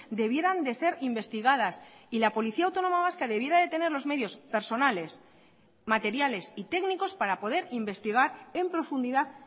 debieran de ser investigadas y la policía autónoma vasca debiera de tener los medios personales materiales y técnicos para poder investigar en profundidad